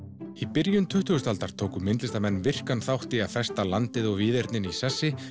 byrjun tuttugustu aldar tóku listamenn virkan þátt í að festa landið og víðernið í sessi